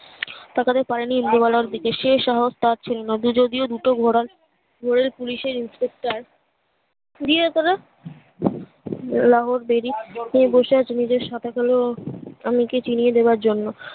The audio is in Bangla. তাকাতে পারিনি ইন্দুবালার দিকে সেই সাহস তার ছিলনা যদিও দুটো ঘোড়ার রেল পুলিশ এর inspector দিক ওরা লাহোরেদেরই তুমি বসে আছো নিজের সাথে করে ও এমনকি চিনিয়ে দেবার জন্য